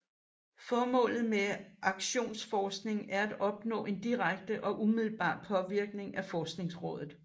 Formålet med aktionsforskning er at opnå en direkte og umiddelbar påvirkning af forskningsområdet